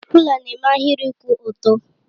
Rụ́la na-eme ahịrị kwụ ọtọ